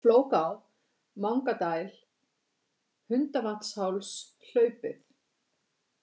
Flóká, Mangadæl, Hundvatnsháls, Hlaupið